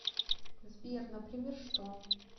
сбер например что